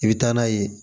I bɛ taa n'a ye